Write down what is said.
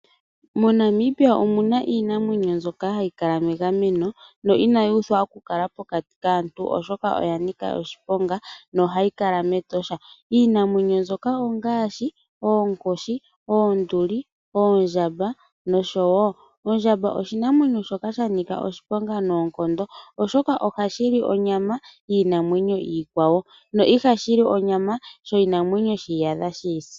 MoNamibia omuna iinamwenyo mbyoka hayi kala megameno, yo inayi uthwa okukala pokati kaantu, oshoka ohayi kala mEtosha National Park. Iinamwenyo mbyoka ongaashi oonkoshi, oonduli , oondjamba noshotuu. Ondjamba oshinamwenyo shoka sha nika oshiponga noonkondo.